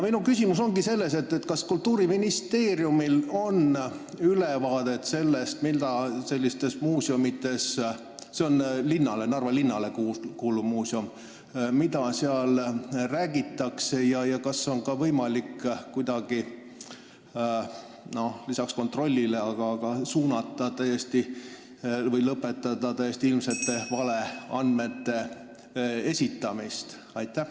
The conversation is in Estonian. Kas Kultuuriministeeriumil on ülevaade sellest, mida seal – see on Narva linnale kuuluv muuseum – räägitakse ja kas on kuidagi võimalik lisaks kontrollimisele ka lõpetada täiesti ilmsete valeandmete esitamine?